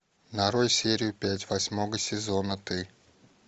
нарой серию пять восьмого сезона ты